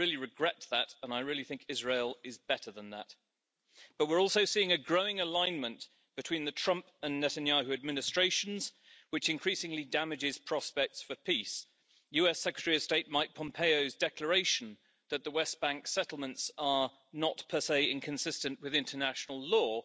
I really regret that and I really think Israel is better than that, but we're also seeing a growing alignment between the Trump and Netanyahu administrations, which increasingly damages prospects for peace. US Secretary of State Mike Pompeo's declaration that the West Bank settlements are not, per se, inconsistent with international law